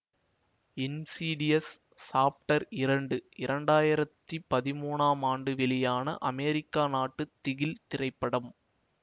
insidious Chapter இரண்டு இரண்டாயிரத்தி பதிமூனாம் ஆண்டு வெளியான அமெரிக்க நாட்டு திகில் திரைப்படம்